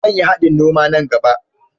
Zan yi haɗin noma nan gaɓa.